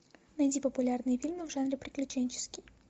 найди популярные фильмы в жанре приключенческий